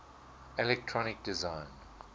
electronic design